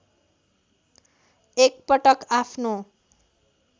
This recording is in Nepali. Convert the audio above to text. एक पटक आफ्नो